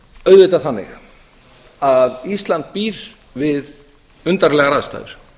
auðvitað þannig að ísland býr við undarlegar aðstæður